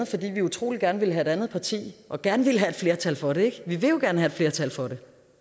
fordi vi utrolig gerne ville have et andet parti og gerne ville have et flertal for det vi vil jo gerne have et flertal for